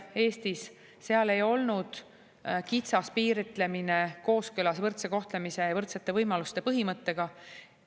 Sellel juhul ei olnud kitsas piiritlemine kooskõlas võrdse kohtlemise ja võrdsete võimaluste põhimõttega.